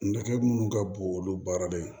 Nɛgɛ minnu ka bon olu baarada ye